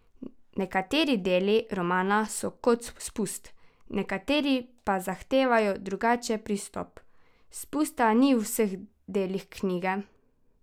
Nekateri deli romana so kot spust, nekateri pa zahtevajo drugačen pristop: "Spusta ni v vseh delih knjige.